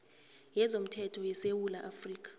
yezomthetho yesewula afrika